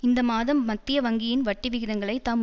இந்த மாதம் மத்திய வங்கியின் வட்டி விகிதங்களை தாம்